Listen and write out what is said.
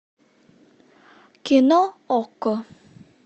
кино окко